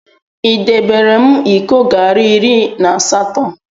Idebere m iko garị iri na asatọ?